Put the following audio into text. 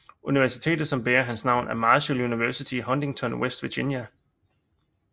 Universitetet som bærer hans navn er Marshall University i Huntington West Virginia